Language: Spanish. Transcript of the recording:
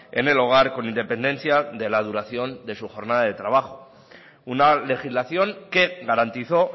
en el hogar con independencia de la duración de su jornada de trabajo una legislación que garantizó